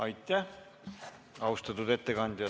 Aitäh, austatud ettekandja!